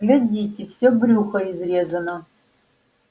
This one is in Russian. глядите всё брюхо изрезано